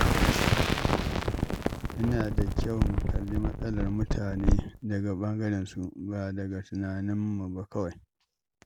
Yana da kyau a kalli matsalar mutane daga ɓangarensu, ba daga tunaninmu kawai ba.